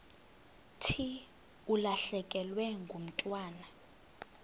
thi ulahlekelwe ngumntwana